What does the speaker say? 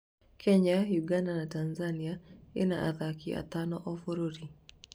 Kenya, Uganda na Tanzania ĩna athaki atano o bũrũri